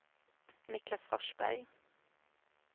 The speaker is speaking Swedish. Niclas Forsberg